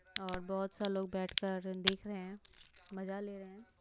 और बहुत सारे लोग बैठकर देख रहे हैं मजा ले रहे हैं।